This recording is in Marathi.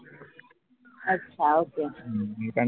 अच्छा ok